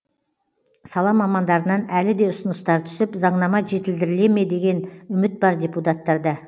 сала мамандарынан әлі де ұсыныстар түсіп заңнама жетілдіріле ме деген үміт бар депутаттарда